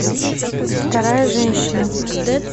вторая женщина